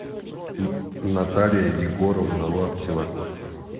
наталья егоровна лаптева